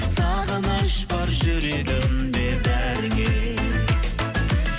сағыныш бар жүрегімде бәріңе